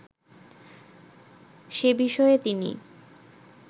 সে বিষয়ে তিনি